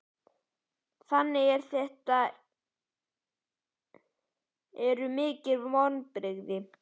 Þannig að þetta eru mikil vonbrigði?